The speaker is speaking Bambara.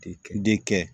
Den kɛ